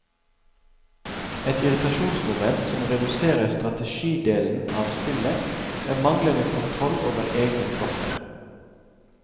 Et irritasjonsmoment som reduserer strategidelen av spillet, er manglende kontroll over egne tropper.